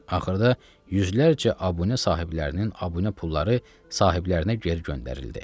Axırda yüzlərcə abunə sahiblərinin abunə pulları sahiblərinə geri göndərildi.